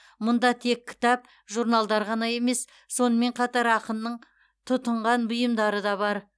мұнда тек кітап журналдар ғана емес сонымен қатар ақынның тұтынған бұйымдары да бар